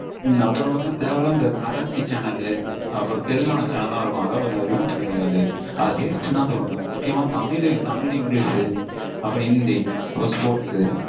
அப்பறம் வந்து தேவை இல்லாத இந்த மராத்தி channel அப்பறம் தெலுங்கானா channel லாம் இருக்கும். அதெல்லாம் கொஞ்சம் remove பன்னிருங்க. அது waste னுதா தோணுது. முக்கியமா தமிழ், English அப்பறம் ஹிந்தி, ஒரு sports